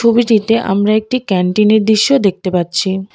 ছবিটিতে আমরা একটি ক্যান্টিনের দৃশ্য দেখতে পাচ্ছি।